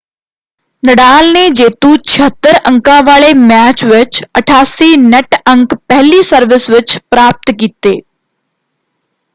ਨਡਾਲ ਨੇ ਜੇਤੂ 76 ਅੰਕਾਂ ਵਾਲੇ ਮੈਚ ਵਿੱਚ 88 ਨੈੱਟ ਅੰਕ ਪਹਿਲੀ ਸਰਵਿਸ ਵਿੱਚ ਪ੍ਰਾਪਤ ਕੀਤੇ।